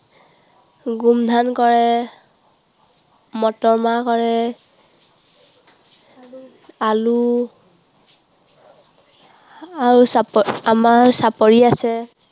গোমধান কৰে, মটৰমাহ কৰে। আলু, আৰু চাপ~ আমাৰ চাপৰি আছে।